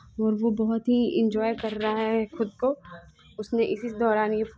और वो बहुत ही इन्जॉय कर रहा है खुद को उसने इसी दौरान यहा --